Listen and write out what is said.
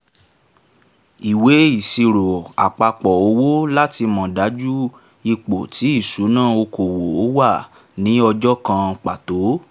ìwé ìsirò àpapọ̀ owó láti mọ̀ dájú ipò ti ìṣúnná okòwò wà ni ọjọ́ kan pàtó